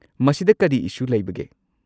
ꯃꯁꯤꯗ ꯀꯔꯤ ꯏꯁꯨ ꯂꯩꯕꯒꯦ?